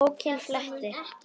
Bókinni flett.